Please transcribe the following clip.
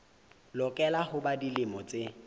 lokela ho ba dilemo tse